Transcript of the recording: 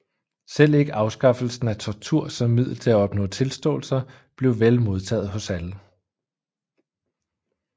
Selv ikke afskaffelsen af tortur som middel til at opnå tilståelser blev vel modtaget hos alle